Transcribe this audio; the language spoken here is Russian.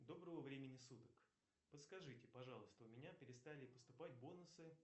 доброго времени суток подскажите пожалуйста у меня перестали поступать бонусы